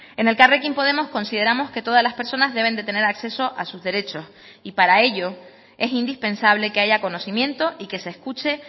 en elkarrekin podemos consideramos que todas las personas deben de tener acceso a sus derechos y para ello es indispensable que haya conocimiento y que se escuche